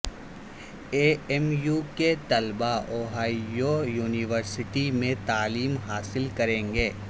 اے M U کے طلبا Ohio university میں تعلیم حاصل کریں گے